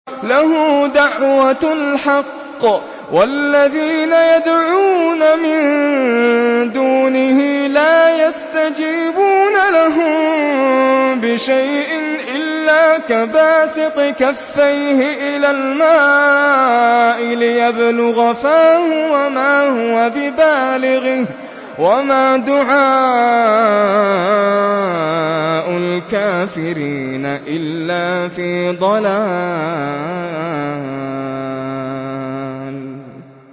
لَهُ دَعْوَةُ الْحَقِّ ۖ وَالَّذِينَ يَدْعُونَ مِن دُونِهِ لَا يَسْتَجِيبُونَ لَهُم بِشَيْءٍ إِلَّا كَبَاسِطِ كَفَّيْهِ إِلَى الْمَاءِ لِيَبْلُغَ فَاهُ وَمَا هُوَ بِبَالِغِهِ ۚ وَمَا دُعَاءُ الْكَافِرِينَ إِلَّا فِي ضَلَالٍ